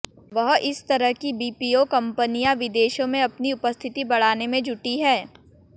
वह इस तरह कि बीपीओ कंपनियां विदेशों में अपनी उपस्थिति बढ़ाने में जुटी हैं